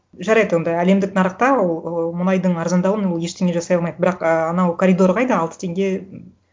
жарайды онда әлемдік нарықта ол ыыы мұнайдың арзандауын ол ештене жасай алмайды бірақ і анау коридор қайда алты теңге